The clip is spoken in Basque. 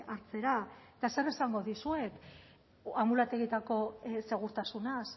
hartzera eta zer esango dizuet anbulategietako segurtasunaz